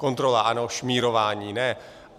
Kontrola ano, šmírování ne.